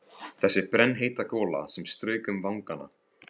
Þessi brennheita gola sem strauk um vangana!